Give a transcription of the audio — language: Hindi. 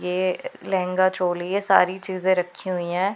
ये लहंगा चोली है सारी चीज रखी हुई है।